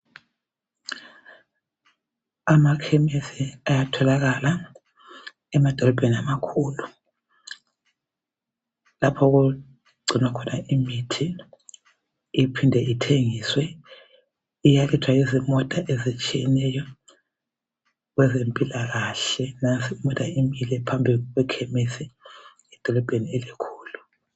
Amakhemisi ayatholakala emadolobheni amakhulu. Lapho okugcinwa khona imithi iphinde ithengiswe. Iyathathwa yizimota ezitshiyeneyo kwezempilakahle. Nansi imota imile phambi kwekhemisi edolobheni elikhulu.